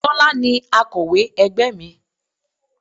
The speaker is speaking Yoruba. Tọ́lá ni akọ̀wé ẹgbẹ́ mi.